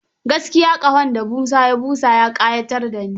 Gaskiya ƙahon da Musa ya busa ya ƙayatar da ni.